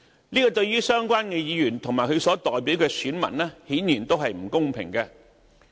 這對於相關議員及其所代表的選民，顯然是不公平的。